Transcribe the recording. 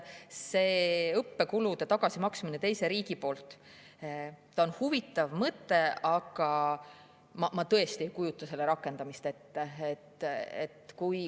See õppekulude tagasimaksmine teise riigi poolt on huvitav mõte, aga ma tõesti ei kujuta selle rakendamist ette.